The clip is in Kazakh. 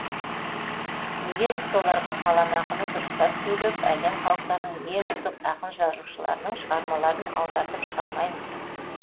неге біз соларға қаламақыны дұрыстап төлеп әлем халықтарының ең үздік ақын жазушыларының шығармаларын аудартып шығармаймыз